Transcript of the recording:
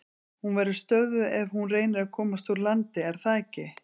Hún verður stöðvuð ef hún reynir að komast úr landi, er það ekki?